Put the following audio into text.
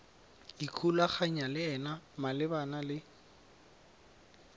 ikgolaganyang le ena malebana le